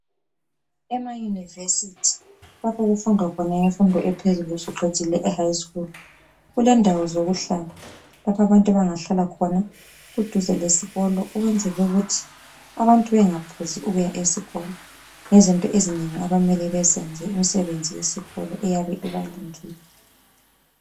Ema university lapho okufundwa khona imfundo ephezulu usuqedile e high school kulendawo zokuhlala lapho abantu abangahlala khona kuduze lesikolo ukwenzela ukuthi abantu bengaphuzi ukuya esikolo ngezinto ezinengi abamele bezenze imisebenzi yesikolo eyabe ibalindile.